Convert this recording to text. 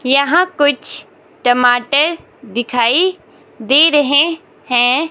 यहां कुछ टमाटर दिखाई दे रहे हैं।